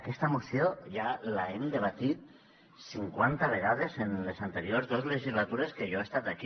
aquesta moció ja l’hem debatut cinquanta vegades en les anteriors dos legislatures que jo ha estat aquí